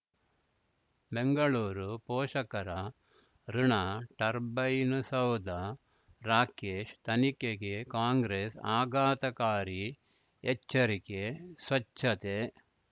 ಬೆಂಗಳೂರು ಪೋಷಕರಋಣ ಟರ್ಬೈನು ಸೌಧ ರಾಕೇಶ್ ತನಿಖೆಗೆ ಕಾಂಗ್ರೆಸ್ ಆಘಾತಕಾರಿ ಎಚ್ಚರಿಕೆ ಸ್ವಚ್ಛತೆ